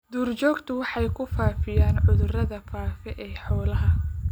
Duurjoogtu waxay ku faafiyaan cudurrada faafa ee xoolaha.